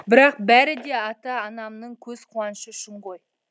бірақ бәрі де ата анамның көз қуанышы үшін ғой